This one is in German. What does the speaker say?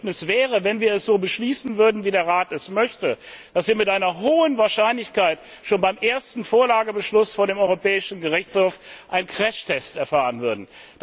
Das Ergebnis wäre wenn wir dies so beschließen würden, wie der Rat es möchte dass wir mit hoher Wahrscheinlichkeit schon beim ersten Vorlagebeschluss vor dem Europäischen Gerichtshof einen Crashtest erfahren würden.